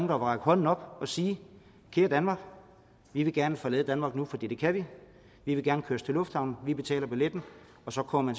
vil række hånden op og sige kære danmark vi vil gerne forlade danmark nu for det kan vi vi vil gerne køres til lufthavnen vi betaler billetten og så kommer